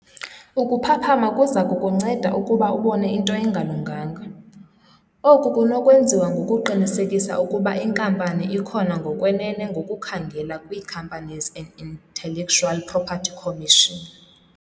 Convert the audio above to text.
Ukuphaphama kuza kukunceda ukuba ubone into engalunganga. Oku kunokwenziwa ngokuqinisekisa ukuba inkampani ikhona ngokwenene ngokukhangela kwi-Companies and Intellectual Property Commission.